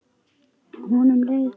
Honum leið betur.